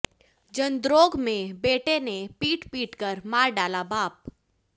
जंद्रोग में बेटे ने पीट पीटकर मार डाला बाप